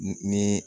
Ni